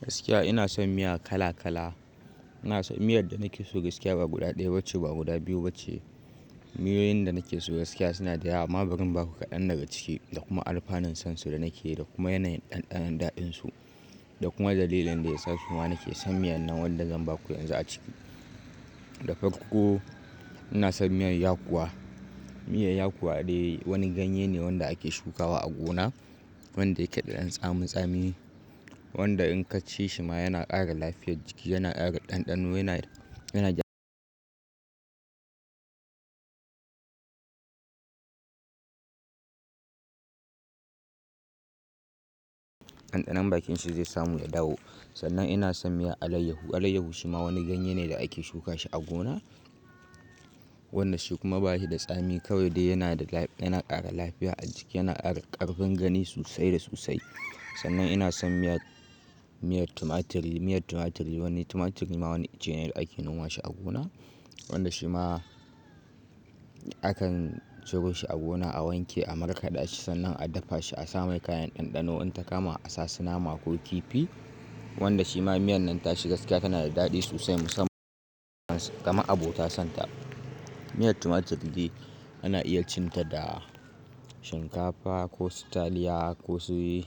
Gaskiya ina son miya kala kala. Ina son miyar da nake so gaskiya ba guda ɗaya bace ba guda biyu bace. Miyoyin da nake so gaskiya suna da yawa amma bari in ba ku kaɗan daga ciki da kuma alfanun sansu da nake yi da kuma yanayin ɗanɗanon daɗinsu da kuma dalilin da yasa shima nake son miyan nan wanda zan ba ku yanzu a ciki. Da farko ina son miyar yakuwa. Miyar yakuwa dai wani ganye ne wanda ake shukawa a gona wanda yake da ɗan tsamin tsami wanda in ka ci shi ma yana ƙara lafiyar jiki yana ƙara ɗanɗano yana, yana ɗanɗanon bakin shi zai samu ya dawo. Sannan ina son miyar alayyahu. Alayyahu shi ma wani ganye ne da ake shuka shi a gona. Wannan shi kuma ba shi da tsami kawai dai yana da dadi yana kara lafiya a jiki yana ƙara ƙarfin gani sosai da sosai. Sannan ina son miyar, miyar tumaturi. Miyar tumaturiri wani, tumaturiri ma wani ice ne da ake noma shi a gona wanda shi ma akan ciro shi a gona a wanke a markaɗa shi sannan a dafa shi a sa mai kayan ɗanɗano in ta kama a sa su nama ko kifi wanda shi ma miyan nan tashi gaskiya tana da daɗi sosai musamman kama abota son ta. Miyar tumaturiri ana iya cin ta da shinkafa ko sutaliya ko su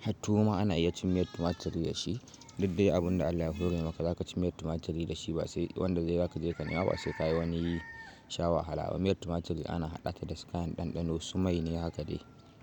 har tuwo ma ana iya cin miyar tumaturiri da shi. Dukdai abun da Allah ya hore maka zaka ci miyar tumaturiri da shi ba sai wanda dai zaka je ka nema ba sai kasha wani whar hala. Miyar tumaturiri ana haɗa ta da su kayan ɗanɗano su mai ne haka dai.